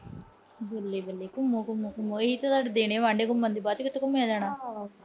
ਬੱਲੇ-ਬੱਲੇ ਘੁੰਮੋ, ਅਹ ਘੁੰਮੋ, ਅਹ ਘੁੰਮੋ। ਇਹੀ ਤਾਂ ਤੋਡੇ ਦਿਨ ਆ ਘੁੰਮਣ ਦੇ। ਬਾਅਦ ਚੋਂ ਕਿਥੇ ਘੁੰਮਿਆ ਜਾਣਾ।